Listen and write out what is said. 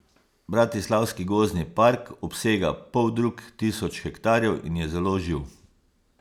Bratislavski gozdni park obsega poldrug tisoč hektarjev in je zelo živ.